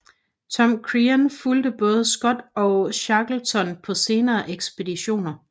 Tom Crean fulgte både Scott og Shackleton på senere ekspeditioner